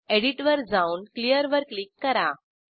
edit वर जाऊन clear वर क्लिक करा